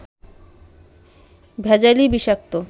ভেজালই বিষাক্ত